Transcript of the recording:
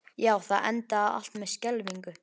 Já, það endaði allt með skelfingu.